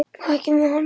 Þekkjum við hana?